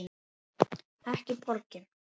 Ekki borgin.